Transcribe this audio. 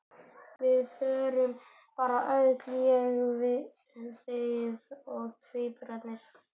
Við förum bara öll: ég, þið og tvíburarnir!